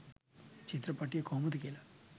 චිත්‍රපටිය කොහොමද කියලා.